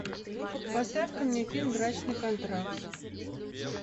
поставь ка мне фильм брачный контракт